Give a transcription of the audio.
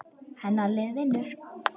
Hennar lið vinnur.